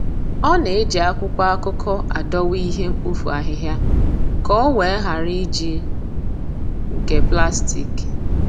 Ọ na-eji akwụkwọ akụkọ adowa ihe mkpofu ahịhịa ka o wee ghara iji nke plastik.